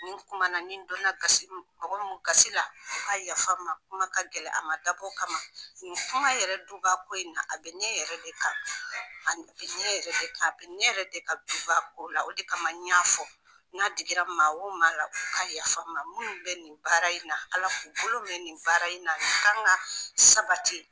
Nin kumana ni donna gasi mɔgɔ mun gasi la a yafa n ma kuma ka gɛlɛ a ma dabɔ o kama nin kuma yɛrɛ dunba ko in na a bɛ ne yɛrɛ de kan a bɛ ne yɛrɛ de kan a bɛ ne yɛrɛ de kan dubako la o de kama n y'a fɔ n'a digira maa wo ma la o ka yafa n ma minnu bɛ nin baara in na ALA ka bolo mɛ nin baara in na nin kan ka sabati.